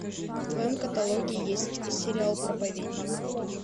в твоем каталоге есть сериал проповедник